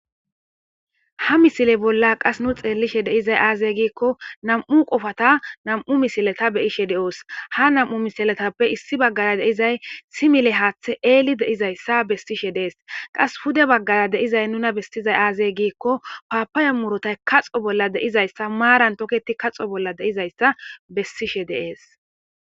Ha misile bolla qas nu xeelishe deizay aazey giikko nam7u qofata nam7u misileta beyishe deoos ha nam7u misiletappe issi baggara deizay simile haaththe eeli deizayssa bestishe dees qas hude baggara deizay nuna bestizay aazey giikko paapayo murotay kaxo bolla deizayssa maaran toketi kaxo bolla deizayssa bessishe deees.